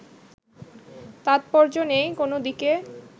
তাৎপর্য নেই কোন দিকে